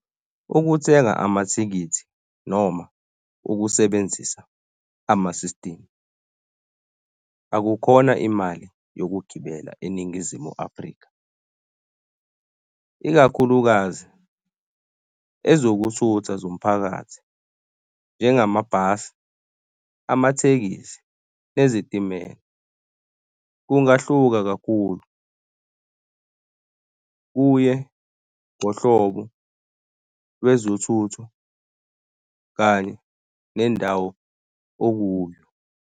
Ukuthenga amathikithi noma ukusebenzisa ama-system akukhona imali yokugibela eNingizimu Afrika, ikakhulukazi ezokuthutha zomphakathi, njengama bhasi, amathekisi nezitimela. Kungahluka kakhulu, kuye ngohlobo lwezethutho kanye nendawo okuyo.